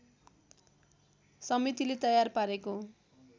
समितिले तयार पारेको